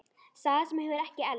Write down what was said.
Saga sem hefur ekki elst.